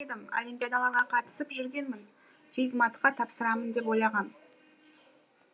олимпиадаларға қатысып жүргенмін физ матқа тапсырамын деп ойлағам